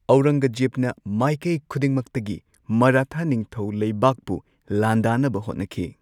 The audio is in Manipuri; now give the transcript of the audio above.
ꯑꯧꯔꯪꯒꯖꯦꯕꯅ ꯃꯥꯢꯀꯩ ꯈꯨꯗꯤꯡꯃꯛꯇꯒꯤ ꯃꯔꯥꯊꯥ ꯅꯤꯡꯊꯧ ꯂꯩꯕꯥꯛꯄꯨ ꯂꯥꯟꯗꯥꯅꯕ ꯍꯣꯠꯅꯈꯤ꯫